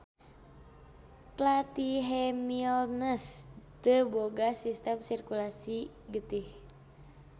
Platyhemilnthes teu boga sistem sirkulasi getih.